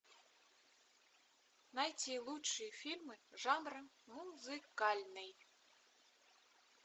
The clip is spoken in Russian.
найти лучшие фильмы жанра музыкальный